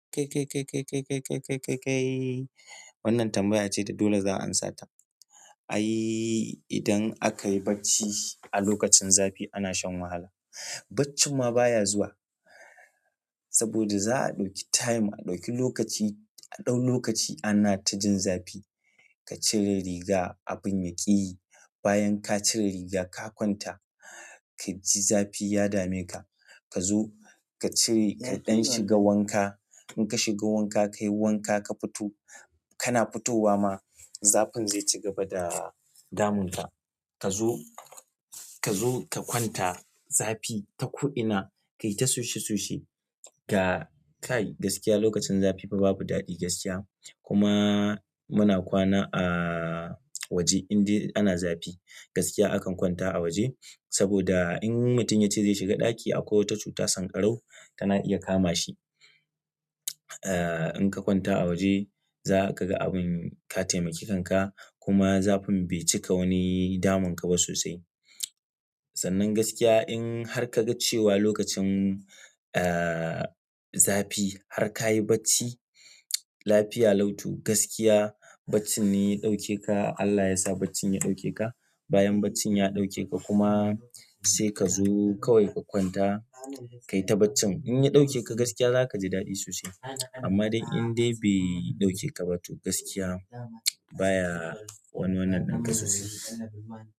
Kai, kai, kai, kai, kai, kai, kai, kai, kai wannan tambaya ce da dole zan amsa ta. Ai idan aka yi bacci a lokacin zafi ana shan wahala. Bacci ma baya zuwa saboda za a ɗauki time, a ɗauki lokaci. A ɗau lokaci ana ta jin zafi ka cire riga abin yaƙi. Bayan ka cire riga ka kwanta kaji zafi ya dame ka ka zo ka cire kaɗan shiga wanka. In ka shiga wanka ka yi wanka ka fito, kana fitowa ma zafin zai ci gaba da damun ka. Ka zo, ka zo ka kwanta zafi ta ko ina ka yi ta soshe soshe. Ga kai gaskiya lokacin zafi fa babu daɗi gaskiya. Kuma muna kwana a waje in dai ana zafi gaskiya akan kwanta a waje saboda in mutum ya ce zai shiga ɗaki akwai wata cuta sanƙarau tana iya kama shi. Ah in ka kwanta a waje za ka ga abin ka taimaki kanka kuma zafin bai cika wani damun ka ba sosai. Sannan gaskiya in har kaga cewa lokacin zafi har kayi bacci lafiya lau to gaskiya baccin ne ya ɗauke ka Allah yasa bacci ya ɗauke ka. Bayan bacci ya ɗauke ka kuma sai ka zo kawai ka kwanta ka yi ta baccin. In ya ɗauke ka gaskiya za ka ji daɗi sosai. Amma dai indai bai ɗauke kaba to gaskiya baya wani wannan ɗin ka sosai.